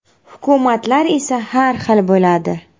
Hukumatlar esa har xil bo‘ladi.